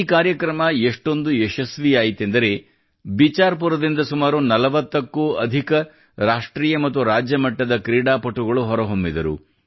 ಈ ಕಾರ್ಯಕ್ರಮ ಎಷ್ಟೊಂದು ಯಶಸ್ವಿಯಾಯಿತೆಂದರೆ ಬಿಚಾರ್ ಪುರದಿಂದ ಸುಮಾರು 40 ಕ್ಕೂ ಅಧಿಕ ರಾಷ್ಟ್ರ ಹಾಗೂ ರಾಜ್ಯ ಮಟ್ಟದ ಕ್ರೀಡಾಪುಟಗಳು ಹೊರಹೊಮ್ಮಿದರು